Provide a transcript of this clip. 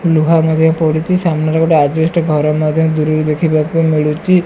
ଲୁହା ଭାବେ ପଡ଼ିଚି ସାମ୍ନାରେ ଗୋଟେ ଅଜବେଷ୍ଟ୍ ଘର ମଧ୍ୟ ଦୂରରେ ଦେଖିବାକୁ ମିଳୁଚି।